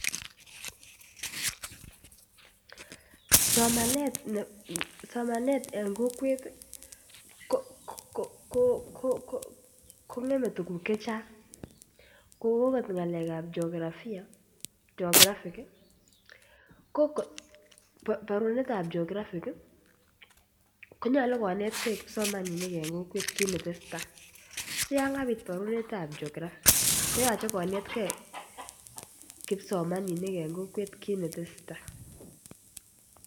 Somanet en kokwet kongeme tuguk Che Chang kou okot ngalekab jeografia chonbo bo geographic konyolu konet ge kipsomaninik kit ne tesetai en kokwet si yon yon kabit parunet ab geographic koyoche konet ge kipsomaninik en kokwet kit ne tese tai